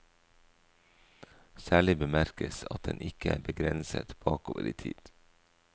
Særlig bemerkes at den ikke er begrenset bakover i tid.